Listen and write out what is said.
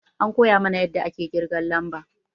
An koya mana yadda ake ƙirgan lamba